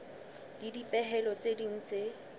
le dipehelo tse ding tse